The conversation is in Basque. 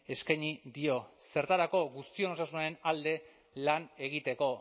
eskaini dio zertarako guztion osasunaren alde lan egiteko